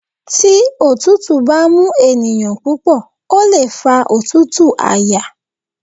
Tí òtútù bá mú ènìyàn púpọ̀ ó lè fa òtútù àyà.